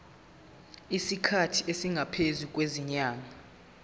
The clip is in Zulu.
isikhathi esingaphezulu kwezinyanga